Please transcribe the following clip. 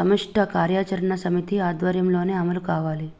సమష్టి కార్యాచరణ సమితి ఆధ్వర్యంలోనే అమలు కావాలి